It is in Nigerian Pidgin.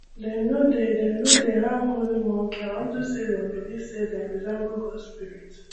dem no dey dem no dey harm holy monkey unto say dem believe say dem resemble gods spirit